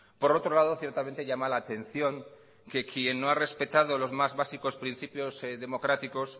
por otro lado ciertamente llama la atención que quien no ha respetado los más básicos principios democráticos